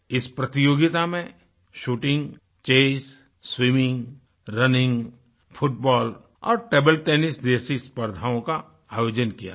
इस प्रतियोगिता में shooting chess swimming running football और टेबल टेनिस जैसी स्पर्द्धाओं का आयोजन किया गया